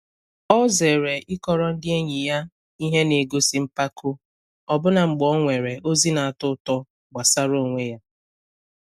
O zere ịkọrọ ndi enyi ya ihe na-egosi mpako, ọbụna mgbe o nwere ozi na-atọ ụtọ gbasara onwe ya.